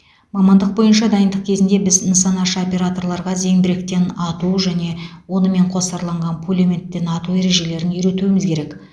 мамандық бойынша дайындық кезінде біз нысанашы операторларға зеңбіректен ату және онымен қосарланған пулеметтен ату ережелерін үйретуіміз керек